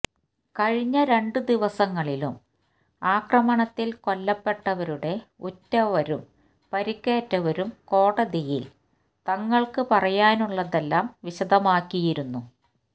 കഴിഞ്ഞ രണ്ട് ദിവസങ്ങളിലും ആക്രമണത്തിൽ കൊല്ലപ്പെട്ടവരുടെ ഉറ്റവരും പരിക്കേറ്റവരും കോടതിയിൽ തങ്ങൾക്ക് പറയാനുള്ളതെല്ലാം വിശദമാക്കിയിരുന്നു